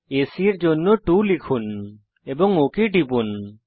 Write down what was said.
AC এর জন্য 2 লিখুন এবং ওক টিপুন